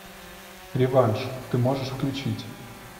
реванш ты можешь включить